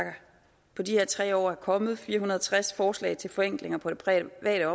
på de her tre år er kommet fire hundrede og tres forslag til forenklinger på det private